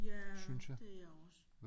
Ja det er jeg også